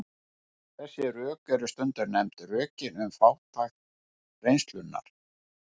Þessi rök eru stundum nefnd rökin um fátækt reynslunnar.